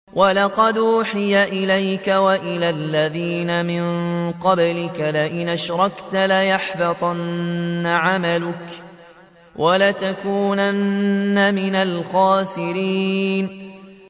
وَلَقَدْ أُوحِيَ إِلَيْكَ وَإِلَى الَّذِينَ مِن قَبْلِكَ لَئِنْ أَشْرَكْتَ لَيَحْبَطَنَّ عَمَلُكَ وَلَتَكُونَنَّ مِنَ الْخَاسِرِينَ